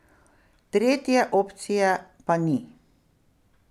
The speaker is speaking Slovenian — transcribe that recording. Tretje opcije pa ni.